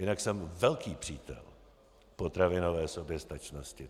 Jinak jsem velký přítel potravinové soběstačnosti.